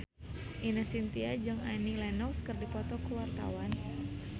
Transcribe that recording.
Ine Shintya jeung Annie Lenox keur dipoto ku wartawan